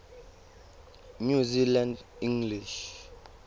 new zealand english